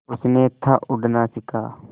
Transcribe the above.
उसने था उड़ना सिखा